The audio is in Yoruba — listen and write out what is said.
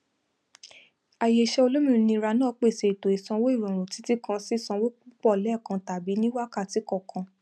àyè iṣẹ olómìnira náà pèsè ètò ìsanwó ìrọrùn títí kan sí sanwó púpọ lẹkan tàbí ní wákàtí kọkan